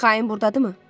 Xain burdadırmı?